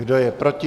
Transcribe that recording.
Kdo je proti?